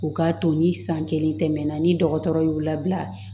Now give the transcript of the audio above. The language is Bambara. O k'a to ni san kelen tɛmɛna ni dɔgɔtɔrɔ y'u labila